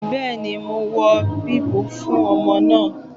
Bẹ́ẹ̀ni mo wọ bíbù fún ọmọ náà